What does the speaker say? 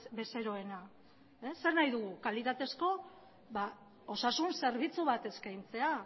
bezeroena zer nahi dugu kalitatezko osasun zerbitzu bat eskaintzea